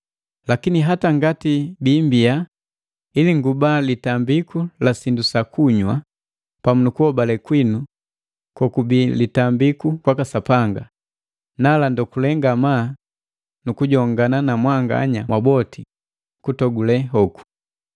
Lakini hata ngati biimbiya ili nguba litambiku sindu sa kunywa pamu nukuhobale kwinu kokubi litambiku kwaka Sapanga, nala ndogule ngamaa nukujongana na mwanganya mwaboti kutogule hoku.